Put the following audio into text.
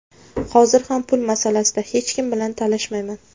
Hozir ham pul masalasida hech kim bilan talashmayman.